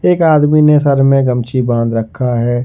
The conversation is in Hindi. एक आदमी ने सर में गमछी बांध रखा है।